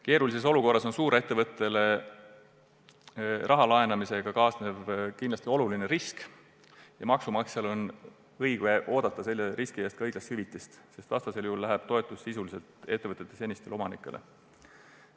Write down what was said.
Keerulises olukorras kaasneb suurettevõttele raha laenamisega kindlasti oluline risk ja maksumaksjal on õigus oodata selle riski eest õiglast hüvitist, vastasel juhul läheb toetus sisuliselt ettevõtte senistele omanikele.